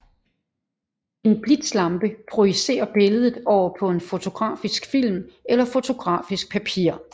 En blitzlampe projicerer billedet over på på en fotografisk film eller fotografisk papir